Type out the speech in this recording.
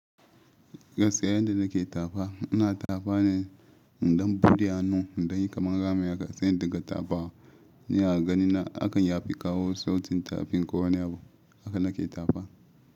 Gaskiya yanda nake tafa, ina tafa ne in ɗan buɗe hannu, in ɗan yi kamar rami haka, sai in dinga tafawa. Ni a gani na akan yafi kawo sautin tafin ko wani abu. Haka nake tafa.